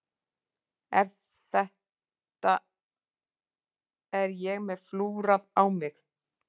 En þetta er ég með flúrað á mig.